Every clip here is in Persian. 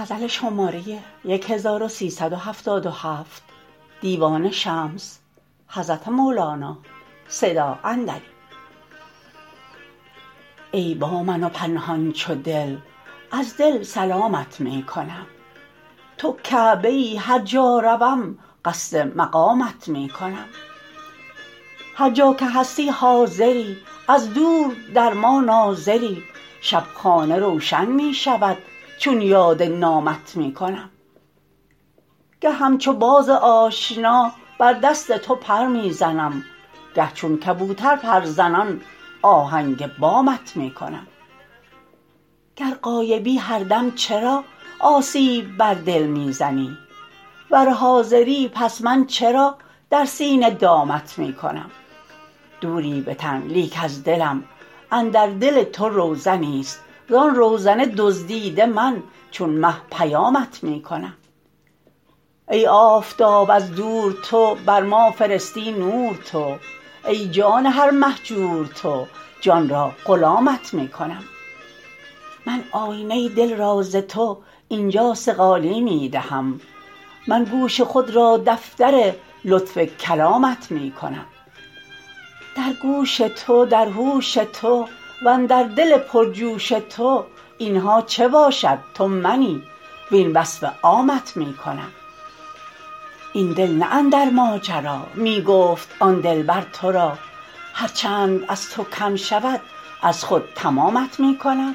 ای با من و پنهان چو دل از دل سلامت می کنم تو کعبه ای هر جا روم قصد مقامت می کنم هر جا که هستی حاضری از دور در ما ناظری شب خانه روشن می شود چون یاد نامت می کنم گه همچو باز آشنا بر دست تو پر می زنم گه چون کبوتر پرزنان آهنگ بامت می کنم گر غایبی هر دم چرا آسیب بر دل می زنی ور حاضری پس من چرا در سینه دامت می کنم دوری به تن لیک از دلم اندر دل تو روزنیست زان روزن دزدیده من چون مه پیامت می کنم ای آفتاب از دور تو بر ما فرستی نور تو ای جان هر مهجور تو جان را غلامت می کنم من آینه دل را ز تو این جا صقالی می دهم من گوش خود را دفتر لطف کلامت می کنم در گوش تو در هوش تو وندر دل پرجوش تو این ها چه باشد تو منی وین وصف عامت می کنم ای دل نه اندر ماجرا می گفت آن دلبر تو را هر چند از تو کم شود از خود تمامت می کنم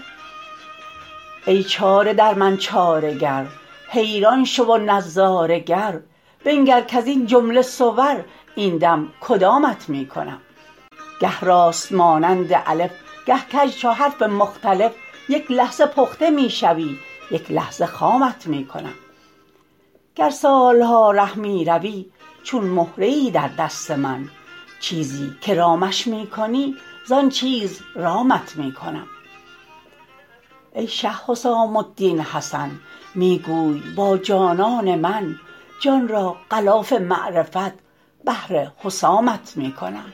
ای چاره در من چاره گر حیران شو و نظاره گر بنگر کز این جمله صور این دم کدامت می کنم گه راست مانند الف گه کژ چو حرف مختلف یک لحظه پخته می شوی یک لحظه خامت می کنم گر سال ها ره می روی چون مهره ای در دست من چیزی که رامش می کنی زان چیز رامت می کنم ای شه حسام الدین حسن می گوی با جانان که من جان را غلاف معرفت بهر حسامت می کنم